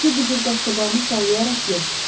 Bircə bu cür qaşqabağını sallayaraq yox.